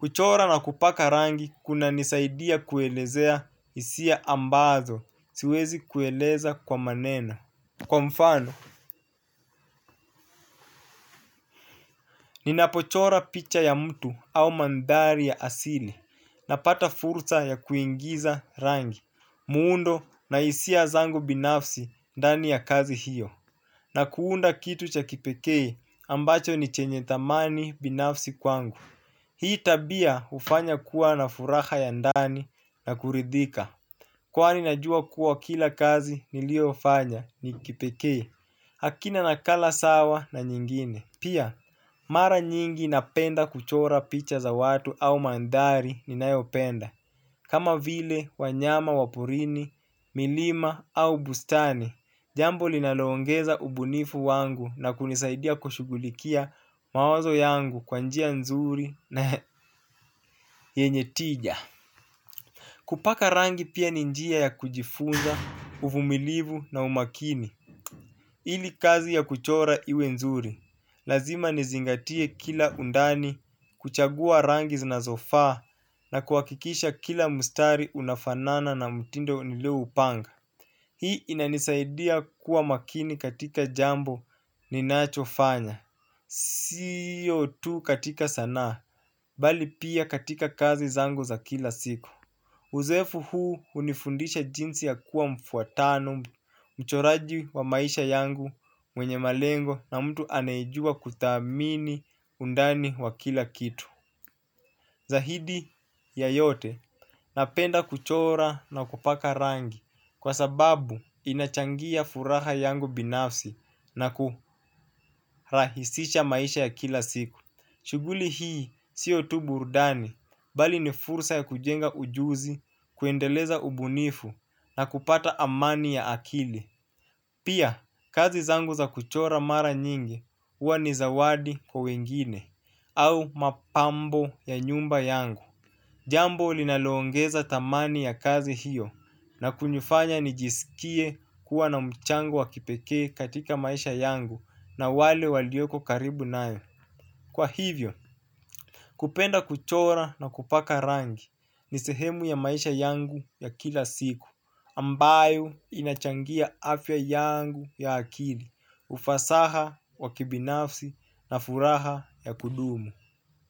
kuchora na kupaka rangi kuna nisaidia kuelezea hisia ambazo, siwezi kueleza kwa maneno. Kwa mfano, ninapochora picha ya mtu au mandhari ya asili na pata fursa ya kuingiza rangi, muundo na hisia zangu binafsi ndani ya kazi hiyo. Na kuunda kitu cha kipekei ambacho ni chenye dhamani binafsi kwangu. Hii tabia hufanya kuwa na furaha ya ndani na kuridhika. Kwani najua kuwa kila kazi niliyo fanya ni kipekee hakina nakala sawa na nyingine. Pia, mara nyingi napenda kuchora picha za watu au mandhari ninayopenda. Kama vile wanyama wa porini, milima au bustani, jambo linalongeza ubunifu wangu na kunisaidia kushugulikia mawazo yangu kwa njia nzuri na yenye tija. Kupaka rangi pia ni njia ya kujifunza, uvumilivu na umakini. Ili kazi ya kuchora iwe nzuri. Lazima nizingatie kila undani, kuchagua rangi zinazo faa na kuhakikisha kila mstari unafanana na mtindo nilio upanga. Hii inanisaidia kuwa makini katika jambo ninacho fanya. Siyo tu katika sanaa, bali pia katika kazi zangu za kila siku. Uzeefu huu hunifundisha jinsi ya kuwa mfuatano mchoraji wa maisha yangu mwenye malengo na mtu anayejua kuthamini undani wa kila kitu. Zaidi ya yote napenda kuchora na kupaka rangi kwa sababu inachangia furaha yangu binafsi na kurahisisha maisha ya kila siku. Shughuli hii siyo tu burdani, bali ni fursa ya kujenga ujuzi kuendeleza ubunifu na kupata amani ya akili. Pia, kazi zangu za kuchora mara nyingi huwa ni zawadi kwa wengine, au mapambo ya nyumba yangu. Jambo linalongeza dhamani ya kazi hiyo na kunifanya nijisikie kuwa na mchango wa kipekee katika maisha yangu na wale walioko karibu nayo. Kwa hivyo, kupenda kuchora na kupaka rangi ni sehemu ya maisha yangu ya kila siku ambayo inachangia afya yangu ya akili ufasaha wakibinafsi na furaha ya kudumu.